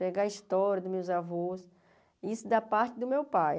Pegar a história dos meus avós, isso da parte do meu pai.